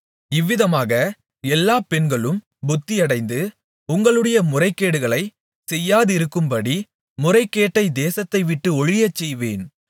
இவ்விதமாக எல்லா பெண்களும் புத்தியடைந்து உங்களுடைய முறைகேடுகளைச் செய்யாதிருக்கும்படி முறைகேட்டைத் தேசத்தைவிட்டு ஒழியச்செய்வேன்